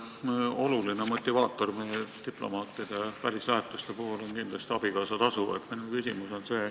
Üks oluline motivaator meie diplomaatide välislähetuste puhul on kindlasti abikaasatasu.